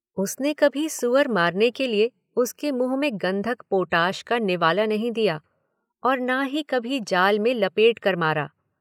उसने कभी सूअर मारने के लिए उसके मुंह में गंधक पोटाश का निवाला नहीं दिया, और ना ही कभी जाल में लपेटकर मारा।